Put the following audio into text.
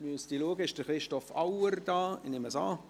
Ist Christoph Auer anwesend?